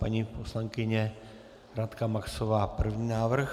Paní poslankyně Radka Maxová první návrh.